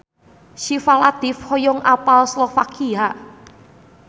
Syifa Latief hoyong apal Slovakia